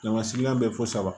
sigilan bɛ fo saba